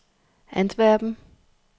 Antwerpen